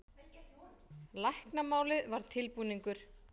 Læknamálið var tilbúningur.